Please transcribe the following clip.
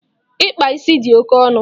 Ịkpa ísì di oke ọnụ